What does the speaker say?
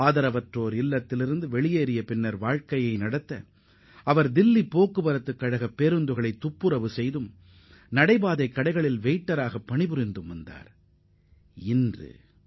பின்னர் அந்த இல்லத்திலிருந்தும் வெளியேறிய அவர் தில்லி போக்குவரத்துக் கழக பேருந்துகளை சுத்தம் செய்தும் சாலையோர உணவகங்களில் பணியாற்றியும் வாழ்க்கையை நடத்தியுள்ளார்